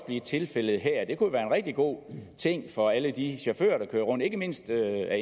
blive tilfældet her det kunne jo være en rigtig god ting for alle de chauffører der kører rundt ikke mindst af